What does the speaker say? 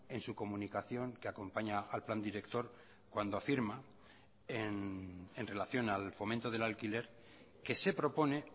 en su comunicación que acompaña al plan director cuando afirma en relación al fomento del alquiler que se propone